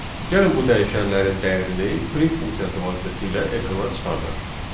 Gəlin bu dəyişənlərin dəyərini print funksiyası vasitəsilə ekrana çıxardaq.